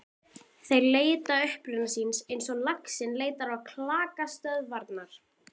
Þeir leita uppruna síns eins og laxinn leitar á klakstöðvarnar.